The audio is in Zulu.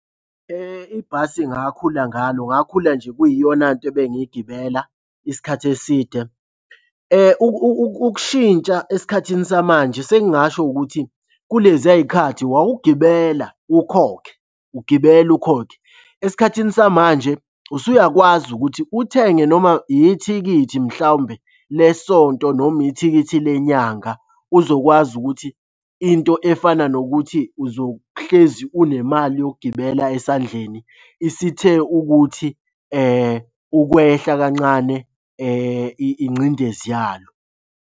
Ibhasi engakhula ngalo, ngakhula nje kuyiyona nto ebengigibela isikhathi eside. Ukushintsha esikhathini samanje sengingasho ukuthi kuleziya y'khathi wawugibela ukhokhe, ugibela ukhokhe. Esikhathini samanje usuyakwazi ukuthi uthenge noma yithikithi mhlawumbe le sonto noma ithikithi le nyanga uzokwazi ukuthi into efana nokuthi uzohlezi unemali yokugibela esandleni isithe ukuthi ukwehla kancane ingcindezi yalo.